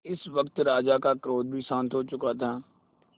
इस वक्त राजा का क्रोध भी शांत हो चुका था